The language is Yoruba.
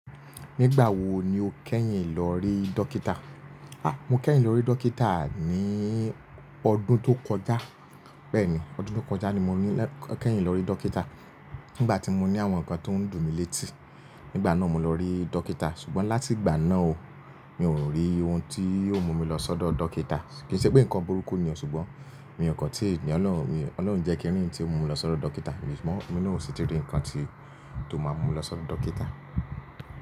Nígbà wo ni o kẹ́yìn lọ rí dókítà? Há! Mo kẹ́yìn lọ rí dókítà ní ọdún tó kọjá. Bẹ́ẹ̀ni, ọdún tó kọjá ni mo kẹ́yìn lọ rí dókítà. Nígbà tí mo ní àwọn nǹkan tó ń dùn mí létí, nígbà náà mo lọ rí dókítà. Ṣùgbọ́n láti ìgbà náà o, mi ò rí ohun tí yóò mú mi lọ sọ́dọ̀ dókítà. Kìi ṣe pé nǹkan burúkú ni o. Ṣùgbọ́n mí ọ kàn tí ìyen naa min, Ọlọ́run o ni jẹ́ kí n rí ntí ó mú mi lọ sọ́dọ̀ dókítà. Sugbon inu ò sí ti rí nǹkan tí ó máa mú mi lọ sọ́dọ̀ dókítà.